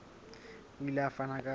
o ile a fana ka